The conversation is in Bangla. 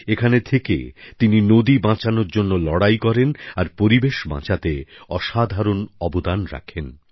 এখানে থেকে তিনি নদী বাঁচানোর জন্য লড়াই করেন আর পরিবেশ বাঁচাতে অসাধারণ অবদান রাখেন